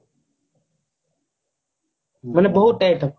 ମାନେ ବହୁତ item